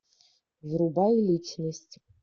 врубай личность